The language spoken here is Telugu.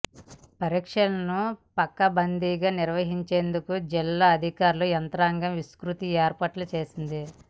పరీక్షలను పకడ్బందీగా నిర్వహించేందుకు జిల్లా అధికార యంత్రాంగం విస్తృత ఏర్పాట్లు చేసింది